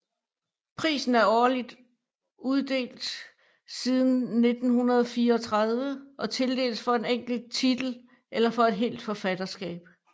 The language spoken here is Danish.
Prisen er uddelt årligt siden 1934 og tildeles for en enkelt titel eller for et helt forfatterskab